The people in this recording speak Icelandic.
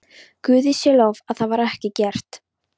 Guði sé lof að það var ekki gert.